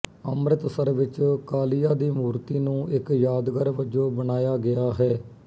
ਅੰਮ੍ਰਿਤਸਰ ਵਿੱਚ ਕਾਲੀਆ ਦੀ ਮੂਰਤੀ ਨੂੰ ਇੱਕ ਯਾਦਗਾਰ ਵਜੋਂ ਬਣਾਇਆ ਗਿਆ ਹੈ